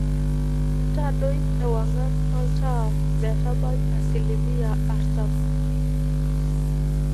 todoi ewangan oltaa metabai asilimia artam